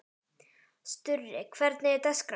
Sturri, hvernig er dagskráin?